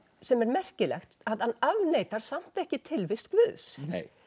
sem er merkilegt hann afneitar samt ekki tilvist Guðs